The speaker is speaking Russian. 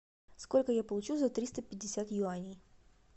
сколько я получу за триста пятьдесят юаней